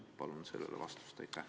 Palun sellele vastust!